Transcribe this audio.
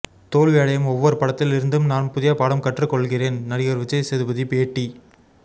தோல்வியடையும் ஒவ்வொரு படத்தில் இருந்தும் நான் புதிய பாடம் கற்றுக் கொள்கிறேன் நடிகர் விஜய் சேதுபதி பேட்டி